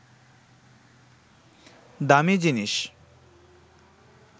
দামি জিনিস